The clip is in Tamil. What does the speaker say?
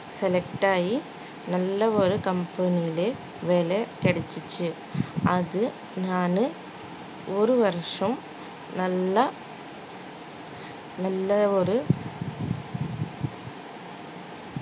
select ஆகி நல்ல ஒரு company லே வேலை கிடைச்சிச்சு அது நானு ஒரு வருஷம் நல்லா நல்லா ஒரு